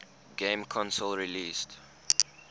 game console released